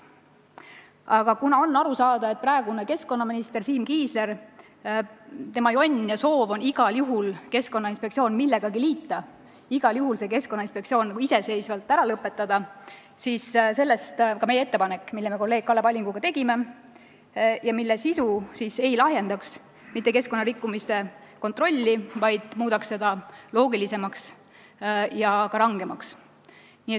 Aga kuna on aru saada, et praeguse keskkonnaministri Siim Kiisleri jonn ja soov on igal juhul Keskkonnainspektsioon millegagi liita, igal juhul see Keskkonnainspektsioon iseseisva asutusena ära lõpetada, siis sellest ka meie ettepanek, mille ma kolleeg Kalle Pallinguga tegin ja mille sisu keskkonnarikkumiste kontrolli mitte ei lahjendaks, vaid muudaks seda loogilisemaks ja ka rangemaks.